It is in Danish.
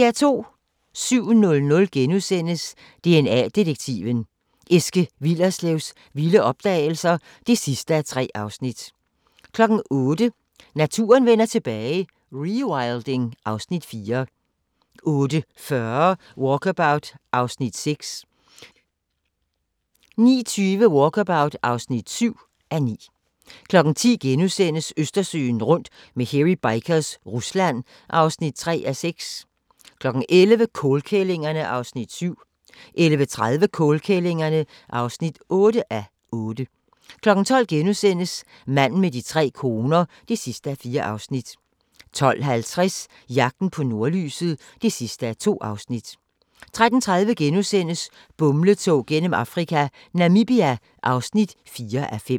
07:00: DNA-detektiven – Eske Willerslevs vilde opdagelser (3:3)* 08:00: Naturen vender tilbage - rewilding (Afs. 4) 08:40: Walkabout (6:9) 09:20: Walkabout (7:9) 10:00: Østersøen rundt med Hairy Bikers – Rusland (3:6)* 11:00: Kålkællingerne (7:8) 11:30: Kålkællingerne (8:8) 12:00: Manden med de tre koner (4:4)* 12:50: Jagten på nordlyset (2:2) 13:30: Bumletog gennem Afrika - Namibia (4:5)*